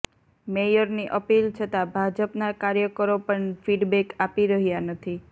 મેયરની appeal છતાં ભાજપના કાર્યકરો પણ ફીડબેક આપી રહ્યા નથી